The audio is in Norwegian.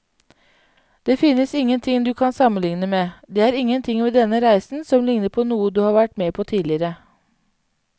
Det finnes ingenting du kan sammenligne med, det er ingenting ved denne reisen som ligner på noe du har vært med på tidligere.